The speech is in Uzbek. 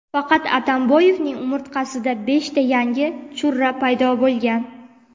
faqat Atamboyevning umurtqasida beshta yangi churra paydo bo‘lgan.